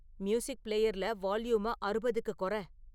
music பிளேயர்ல வால்யூம அறுபதுக்குக் கொற